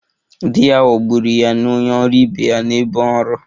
Di ya ghọgburu ya na onye ọrụ ibe ya n'ebe ọrụ